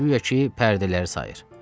Guya ki pərdələri sayır.